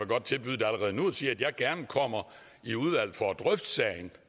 godt tilbyde det allerede nu og sige at jeg gerne kommer i udvalget for at drøfte sagen